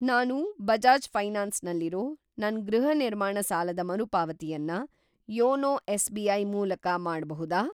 ನಾನು ಬಜಾಜ್‌ ಫೈನಾನ್ಸ್ ನಲ್ಲಿರೋ ನನ್‌ ಗೃಹ ನಿರ್ಮಾಣ ಸಾಲದ ಮರುಪಾವತಿಯನ್ನ ಯೋನೋ ಎಸ್.ಬಿ.ಐ. ಮೂಲಕ ಮಾಡ್ಬಹುದಾ?